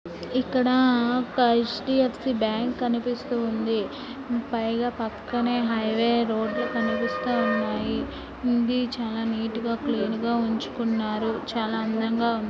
ఇక్కడ ఒక _ HDFC bank అనేది కనిపిస్తోంది పైగా పక్కనే హైవే రోడ్డు కనిపిస్తున్నాయి కుండి చాలా నీట్ గా క్లీన్ గా ఉంచుకున్నారు.